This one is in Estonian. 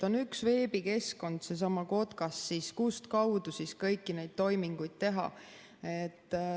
On üks veebikeskkond, seesama KOTKAS, kustkaudu siis kõiki neid toiminguid teha.